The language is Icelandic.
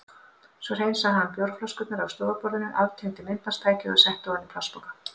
Svo hreinsaði hann bjórflöskurnar af stofuborðinu, aftengdi myndbandstækið og setti ofan í plastpoka.